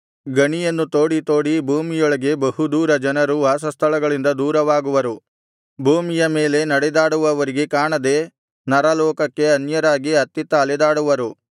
ಗಣಿಯನ್ನು ತೋಡಿ ತೋಡಿ ಭೂಮಿಯೊಳಗೆ ಬಹುದೂರ ಜನರು ವಾಸಸ್ಥಳಗಳಿಂದ ದೂರವಾಗುವರು ಭೂಮಿಯ ಮೇಲೆ ನಡೆದಾಡುವವರಿಗೆ ಕಾಣದೆ ನರಲೋಕಕ್ಕೆ ಅನ್ಯರಾಗಿ ಅತ್ತಿತ್ತ ಅಲೆದಾಡುವರು